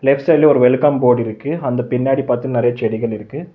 Left சைட்ல ஒரு welcome board இருக்கு அந்து பின்னாடி பாத்து நெறைய செடிகள் இருக்கு.